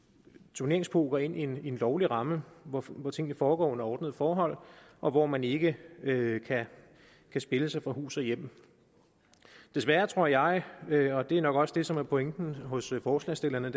turneringspoker ind i en lovlig ramme hvor hvor tingene foregår under ordnede forhold og hvor man ikke kan spille sig fra hus og hjem desværre tror jeg og det er nok også det som er pointen hos forslagsstillerne